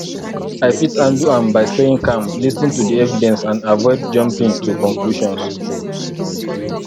i fit handle am by staying calm lis ten to di evidence and avoid jumping to conclusions